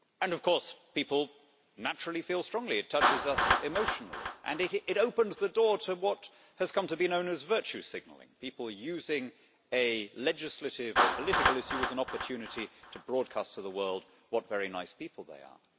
Of course, people feel strongly about it. It touches us emotionally, and it opens the door to what has come to be known as virtue signalling people using a legislative or political issue as an opportunity to broadcast to the world what very nice people they are.